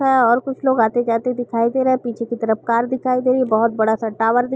हा और कुछ लोग आते-जाते दिखाई दे रहे हैं। पीछे की तरफ कार दिखाई दे रही है। बहोत बड़ा सा टॉवर दिख --